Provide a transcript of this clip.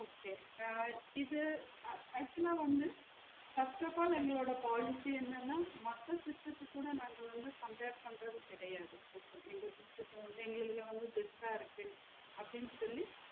Okay ah இது ac~ actually வந்து first of all எங்களோட policy என்னனா மக்கள் system த்துக் கூட நாங்க வந்து compare பன்றது கெடையாது எங்களுக்கு best ஆ இருக்கு அப்டின்னு சொல்லி